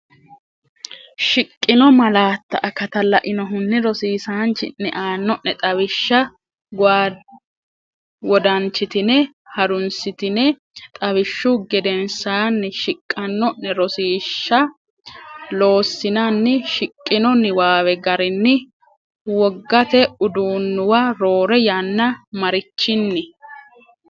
Shiqqino malaatta akatta lainohunni rosiisaanchi’ne aanno’ne xawishsha wodanchitine ha’runsitine xawishshu gedensaanni shiqanno’ne rosiish sha loossinanni, Shiqqino niwaawe garinni wogate uduunnuwa roore yanna marichin?